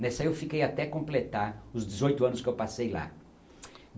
Nessa aí, eu fiquei até completar os dezoito anos que eu passei lá.